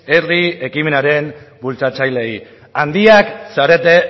herri ekimenaren bultzatzaileei handiak zarete